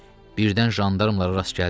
Birdən jandarmlara rast gəldik.